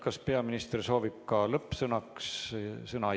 Kas peaminister soovib ka lõppsõna?